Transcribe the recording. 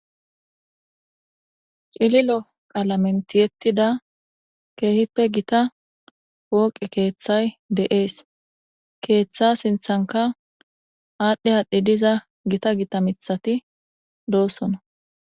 Cililo qalamen ti'etida kehipe gitta poqe kethay de'es ketha sinithanka adhi adhi diza gitta gitta mithati do'sona